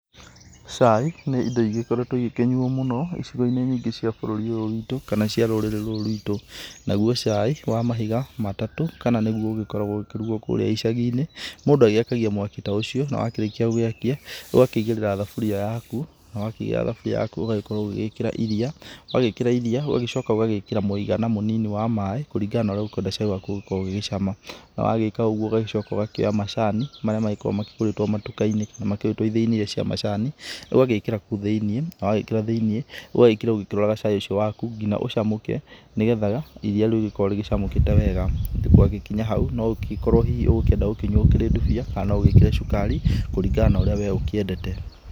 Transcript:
Cai ni indo igĩkoretwo igĩkĩnyuo mũno icigo-inĩ nyingĩ cia bũrũri ũyũ witũ kana cia rũrĩrĩ rũrũ rwitũ. Naguo cai wa mahiga matatũ kana nĩguo ũgĩkoragwo ũgĩkĩrugwo kũrĩa icagi-inĩ, mũndũ agĩakagia mwaki ta ũcio, na wakĩrĩkia gũgĩakia, ũgakĩigĩrĩra thaburia yaku, na wakĩigĩrĩra thaburia yaku ũgagĩkorwo ũgĩgĩĩkĩra iriia, wagĩĩkĩra iriia ũgagĩcoka ũgagĩĩkĩra mũigana mũnini wa maaĩ kũrigana na ũrĩa ũkũenda cai waku ũgũkorwo ũgĩgĩcama. Na wagĩĩka ũguo ũgagĩcoka ũgakĩoya macani marĩa magĩkoragwo makĩgũrĩtwo matuka-inĩ na ithĩi-inĩ iria cia macani ũgagĩĩkĩra kũũ thĩiniĩ, na wagíĩkĩra thĩiniĩ, ũgagíĩkĩra ũgĩkĩroraga cai ũcio waku ngina ũcamũke nĩ getha iriia rĩu rĩkorwo rĩgĩcamũkĩte wega. Gwagĩkinya hau no ũngĩgĩkorwo hihi ũgũkĩenda gũkĩnyua ũrĩ ndubia kana ũgĩĩkĩre cukari kũringana na ũrĩa we ũkĩendete.